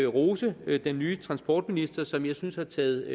rose den nye transportminister som jeg synes har taget